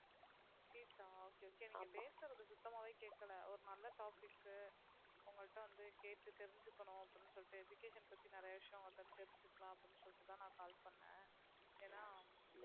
fees ஆ okay okay நீங்க பேசுறது சுத்தமாவே கேட்கல ஒரு நல்ல topic க்கு உங்கள்ட்ட வந்து கேட்டு தெரிஞ்சுக்கணும் அப்படின்னு சொல்லிட்டு education பத்தி நிறைய விஷயம் உங்ககிட்ட இருந்து தெரிஞ்சுக்கலாம் அப்படின்னு சொல்லிட்டுதான் நான் call பண்ணேன் ஏனா